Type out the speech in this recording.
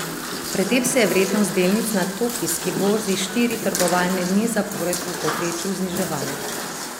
Pred tem se je vrednost delnic na tokijski borzi štiri trgovalne dni zapored v povprečju zniževala.